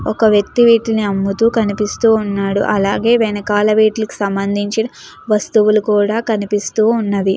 ఒక వ్యక్తి వీటిని అమ్ముతూ కనిపిస్తూ ఉన్నాడు అలాగే వెనకాల వీట్లకి సంబంధించిన వస్తువులు కూడా కనిపిస్తూ ఉన్నవి.